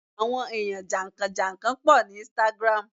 àwọn eyan jankan-jankan po ni Instagram